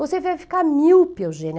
Você vai ficar míope, Eugênia.